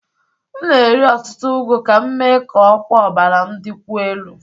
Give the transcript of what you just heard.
M na-eri ọtụtụ ugu ka m mee ka ọkwa ọbara m dịkwuo elu